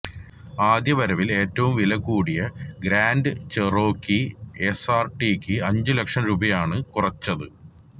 ആദ്യ വരവില് ഏറ്റവും വില കൂടിയ ഗ്രാന്റ് ചെറോക്കി എസ്ആര്ടിക്ക് അഞ്ചു ലക്ഷം രൂപയാണ് കുറച്ചത്